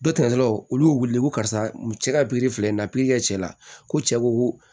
Dɔ tatɔlaw olu y'u weele ko karisa cɛ ka filɛ nin na kɛ cɛ la ko cɛ ko